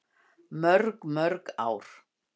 Mörg mörg ár!